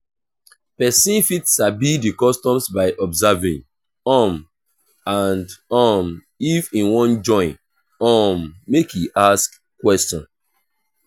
persin fit sabi di customs by observing um and um if im won join um make e ask question